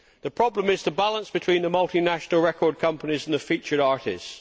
The problem is the balance between the multinational record companies and the featured artists.